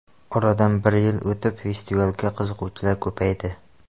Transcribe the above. Oradan bir yil o‘tib festivalga qiziquvchilar ko‘paydi.